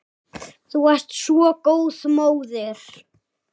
Þú varst svo góð móðir.